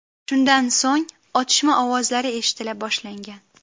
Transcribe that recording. Shundan so‘ng otishma ovozlari eshitila boshlangan.